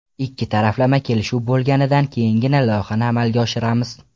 Ikki taraflama kelishuv bo‘lganidan keyingina loyihani amalga oshiramiz.